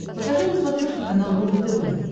покажи на смотрешке канал рубль тв